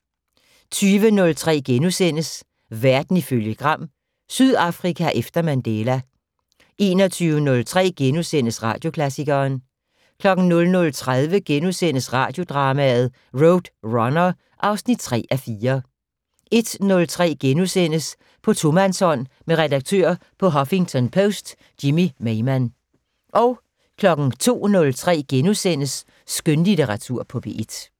20:03: Verden ifølge Gram: Sydafrika efter Mandela * 21:03: Radioklassikeren * 00:30: Radiodrama: RoadRunner (3:4)* 01:03: På tomandshånd med redaktør på Huffington Post Jimmy Maymann * 02:03: Skønlitteratur på P1 *